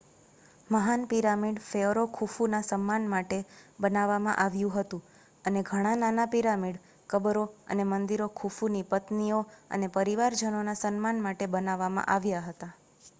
મહાન pyramid pharaoh ખુફુના સન્માન કરવા માટે બનાવવામાં આવ્યું હતું અને ઘણા નાના પિરામિડ કબરો અને મંદિરો ખુફુની પત્નીઓ અને પરિવાજનોનાં સન્માન માટે બનાવવામાં આવ્યા હતા